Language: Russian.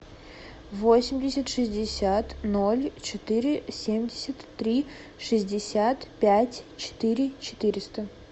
восемьдесят шестьдесят ноль четыре семьдесят три шестьдесят пять четыре четыреста